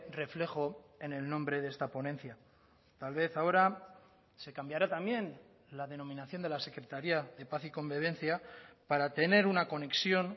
reflejo en el nombre de esta ponencia tal vez ahora se cambiará también la denominación de la secretaría de paz y convivencia para tener una conexión